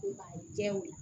A jɛw